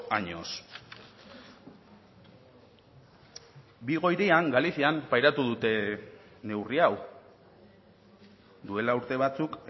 años vigo hirian galizian pairatu dute neurri hau duela urte batzuk